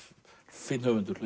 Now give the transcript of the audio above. fínn höfundur